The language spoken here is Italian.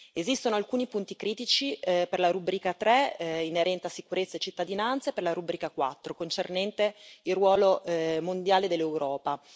Esistono alcuni punti critici, per la rubrica 3, inerente a sicurezza e cittadinanza, e per la rubrica 4, concernente il ruolo mondiale dell'Europa.